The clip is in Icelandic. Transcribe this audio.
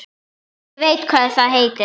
Ég veit hvað það heitir